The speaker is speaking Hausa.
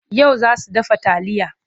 Yau za su dafa taliya.